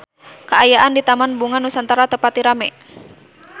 Kaayaan di Taman Bunga Nusantara teu pati rame